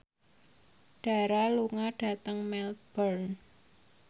Dara lunga dhateng Melbourne